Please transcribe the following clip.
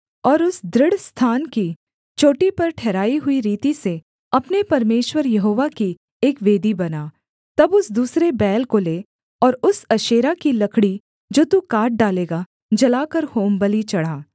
और उस दृढ़ स्थान की चोटी पर ठहराई हुई रीति से अपने परमेश्वर यहोवा की एक वेदी बना तब उस दूसरे बैल को ले और उस अशेरा की लकड़ी जो तू काट डालेगा जलाकर होमबलि चढ़ा